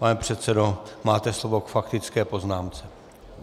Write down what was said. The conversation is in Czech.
Pane předsedo, máte slovo k faktické poznámce.